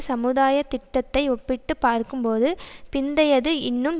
சமுதாயத் திட்டத்தை ஒப்பிட்டு பார்க்கும்போது பிந்தையது இன்னும்